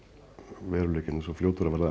veruleikinn er svo fljótur að verða